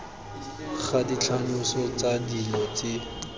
ga ditlhaloso tsa dilo tse